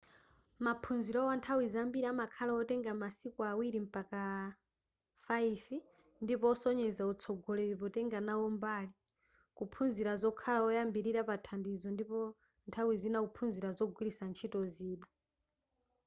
maphunzirowa nthawi zambiri amakhala otenga masiku 2-5 ndipo osonyeza utsogoleri potenga nawo mbali kuphunzira zokhala woyambilira pathandizo ndipo nthawi zina kuphunzira kugwiritsa ntchito zida